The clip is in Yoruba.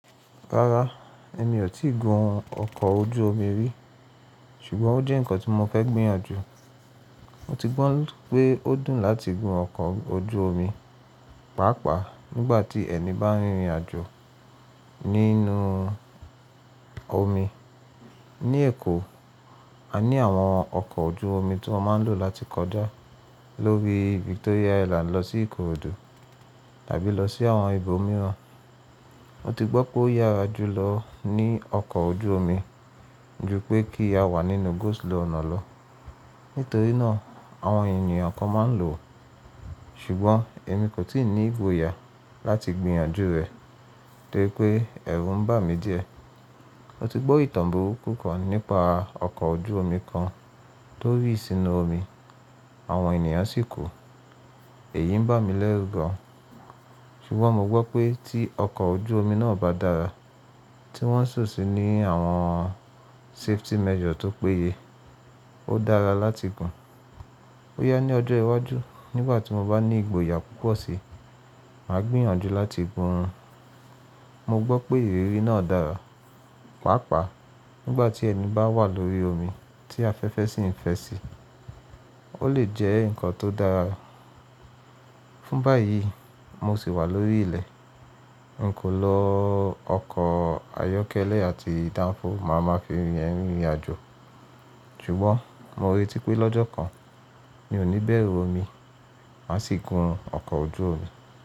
Rárá, èmi ò tíì gun ọkọ̀ ojú omi rí, ṣùgbọ́n ó jẹ́ ǹkan tí mo fẹ́ gbìyànjú. Mo ti gbọ́ pé ó dùn láti gun ọkọ̀ ojú omi, pàápàá nígbà tí ẹni bá rìnrìn àjò nínú omi. Ní Èkó, a ní àwọn ọkọ̀ ojú omi tí wọ́n máa ń lò láti kọjá lórí Victoria Island lọ sí Ìkòròdú tàbí lọ sí àwọn ibo mìíràn. Mo ti gbọ́ pé ó yára jùlọ ní ọkọ̀ ojú omi ju pé kí a wà nínú go slow ọ̀nà lọ. Nítorí náà, àwọn ènìyàn kan máa ń lò ó. Ṣùgbọ́n èmi kò tí ì ní ìgboyà láti gbìyànjú rẹ̀ torí pé ẹ̀rù ń bà mí díẹ̀. Mo ti gbọ́ ìtàn burúkú kan nípa ọkọ̀ ojú omi kan tó rì sínú omi, àwọn ènìyàn sì kú. Èyí ń bà mí lẹ́rù gan-an. Ṣùgbọ́n mo gbọ́ pé tí ọkọ̀ ojú omi náà bá dára, tí wọ́n sì ṣò sí ní àwọn safety measure tó péye, ó dára láti gun. Boya ní ọjọ́ iwájú nígbà tí mo bá ní ìgboyà púpọ̀ si, màá gbìyànjú láti gun rún. Mo gbọ́ pé ìrírí náà dára, pàápàá nígbà tí ẹni bá wà lórí omi tí afẹ́fẹ́ sì ń fẹ́ sí, ó lè jẹ́ ǹkan tó dára. Fún báyìí, mo sì wà lórí ilẹ̀. N kò lọ ọkọ̀ ayọ́kẹ́lẹ́ àti danfo máa ma fi rìnrìn àjò. Ṣùgbọ́n mo r'eti pé lọ́jọ́ kan, mi ò ní bẹ̀rù omi, màá sì gun ọkọ̀ ojú omi.